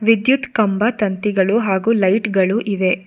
ವಿದ್ಯುತ್ ಕಂಬ ತಂತಿಗಳು ಹಾಗು ಲೈಟ್ ಗಳು ಇವೆ.